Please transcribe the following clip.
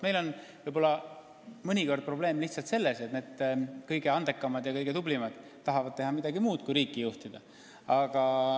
Meil on mõnikord probleem lihtsalt selles, et need kõige andekamad ja kõige tublimad tahavad teha midagi muud kui riiki juhtida.